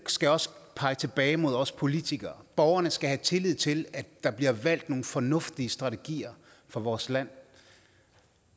skal også pege tilbage mod os politikere borgerne skal have tillid til at der bliver valgt nogle fornuftige strategier for vores land